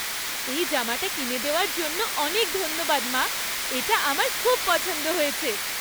এই জামাটা কিনে দেওযার জন্য অনেক ধন্যবাদ, মা! এটা আমার খুব পছন্দ হয়েছে।